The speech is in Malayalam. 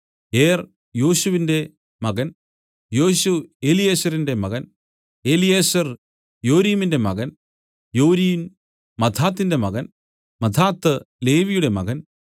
ഏർ യോശുവിന്റെ മകൻ യോശു എലീയേസരിന്റെ മകൻ എലീയേസർ യോരീമിന്റെ മകൻ യോരീം മത്ഥാത്തിന്റെ മകൻ മത്ഥാത്ത് ലേവിയുടെ മകൻ